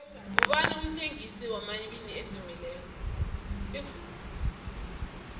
ngubani umthengisi wamawiki edumileko